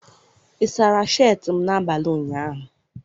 ị sara sheetị m n'abalị ụnyaahụ?